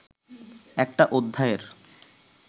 একটা অধ্যায়ের